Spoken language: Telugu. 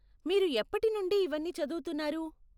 మీరు ఎప్పటి నుండి ఇవన్నీ చదువుతున్నారు?